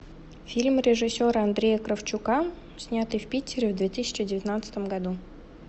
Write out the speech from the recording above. фильм режиссера андрея кравчука снятый в питере в две тысячи девятнадцатом году